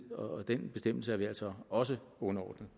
og den bestemmelse er vi altså også underordnet